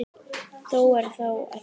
Það er þó ekki víst.